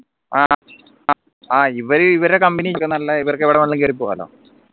ആഹ് ഇവര് ഇവരെ company ക്ക് നല്ലേ ഇവർക്ക് എവിടെ വേണമെങ്കിലും കേറി പോവാലോ